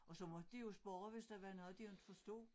Og så måtte de jo spørge hvis der var noget de ikke forstod